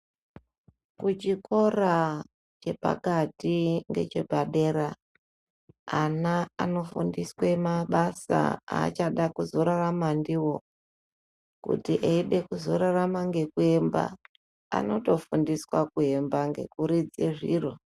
Kuchikora chepakati nechepadera ana anofundiswa mabasa achada kuzorarama ndiwo kuti eida kuzorarama nekuemba anotofundiswa kuemba Ngekuridza zviro.